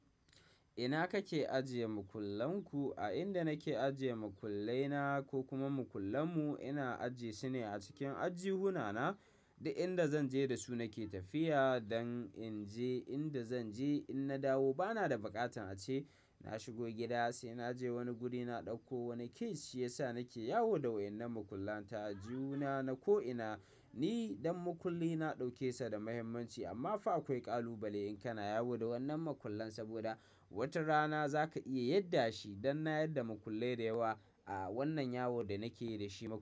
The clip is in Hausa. Ina kake ajiye makullan ku? A inda nake ajiye makullai na ko kuma makullan mu, ina ajjiye su ne a cikin aljuhuna na, duk inda zan je da su nake tafiya don in je inda zan je. In na dawo bana da baƙatin a ce na shigo gida, sai na je wani guri na dauko wani key, shi yasa nake yawo da wannan makullan ta. Aljuhuna na ko ina, ni dan makulli na dauke sa da muhimmanci, amma fa akwai ƙalubale in kana yawo da wannan makullan, saboda wata rana za ka iya yadda shi. Dan na yarda makullai dayawa, a wannan yawon da nake yi da shi ma.